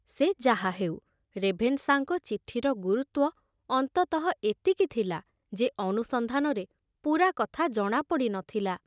ସେ ଯାହାହେଉ, ରେଭେନଶାଙ୍କ ଚିଠିର ଗୁରୁତ୍ଵ ଅନ୍ତତଃ ଏତିକି ଥିଲା ଯେ ଅନୁସନ୍ଧାନରେ ପୂରା କଥା ଜଣାପଡ଼ି ନ ଥିଲା।